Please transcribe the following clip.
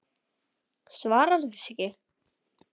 Svaraði þessu ekki.